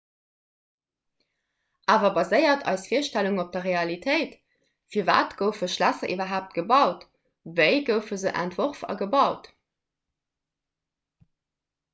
awer baséiert eis virstellung op der realitéit firwat goufe schlässer iwwerhaapt gebaut wéi goufe se entworf a gebaut